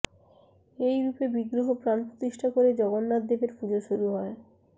এই রূপে বিগ্রহে প্রাণ প্রতিষ্ঠা করে জগন্নাথদেবের পুজো শুরু হয়